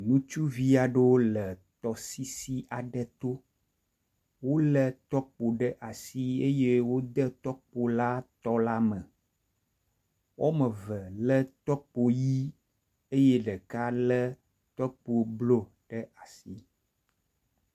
Ŋutsuvi aɖewo le tɔsisi aɖe tio wole tɔkpo ɖe asi eye wode tɔkpo la tɔ la me. Woame eve lé tɔkpo ʋe eye ɖeka lé tɔkpo blɔƒe amadede mei.